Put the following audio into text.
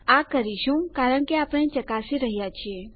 આ કરીશું કારણ કે આપણે ચકાસી રહ્યા છીએ